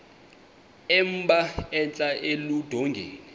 emba entla eludongeni